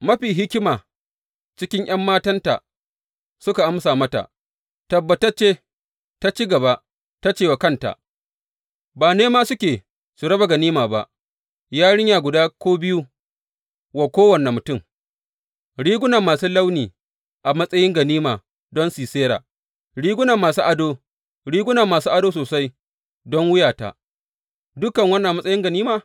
Mafi hikima cikin ’yan matanta suka amsa mata, tabbatacce, ta ci gaba ta ce wa kanta, Ba nema suke su raba ganima ba, yarinya guda ko biyu wa kowane mutum, riguna masu launi a matsayin ganima don Sisera, riguna masu ado, riguna masu ado sosai don wuyata, dukan wannan a matsayin ganima?’